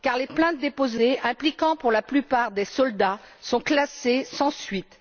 Car les plaintes déposées, impliquant pour la plupart des soldats, sont classées sans suite.